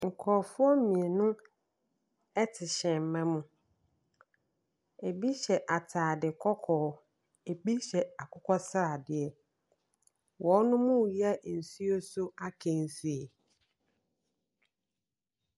Nkorofoɔ mmienu ɛte hyɛma mu, ɛbi hyɛ ataade kɔkɔɔ, ɛbi hyɛ akokɔsradeɛ. Wɔnom ɛyɛ nsuo so akansie.